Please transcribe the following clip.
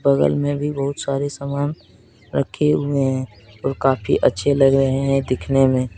बगल में भी बहुत सारे सामान रखे हुए हैं और काफी अच्छे लग रहे हैं देखने में।